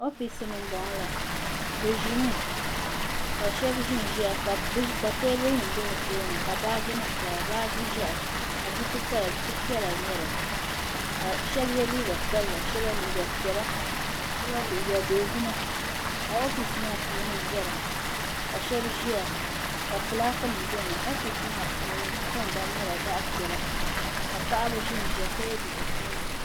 oofis ni n bɔŋɔ la bi ʒimi ka shab ʒinʒiya ka baaji nim pa bi tooni baaji ʒiɛhi ka buku paya buku piɛla n nyɛli ka shab yɛ liiga sabila shab liiga piɛla shaba liiga dozima ka oofis maa puuni viɛla ka shab ʒiya ka fulaaki nim biɛni oofis maa puuni di tingbani nyɛla zaɣ piɛla ka paɣaba ʒinʒiya ka yɛ liiga sabila